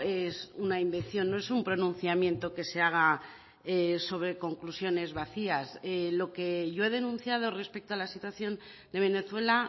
es una invención no es un pronunciamiento que se haga sobre conclusiones vacías lo que yo he denunciado respecto a la situación de venezuela